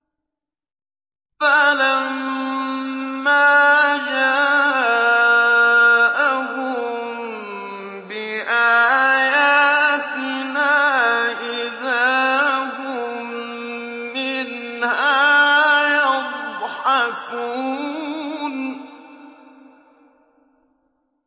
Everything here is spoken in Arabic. فَلَمَّا جَاءَهُم بِآيَاتِنَا إِذَا هُم مِّنْهَا يَضْحَكُونَ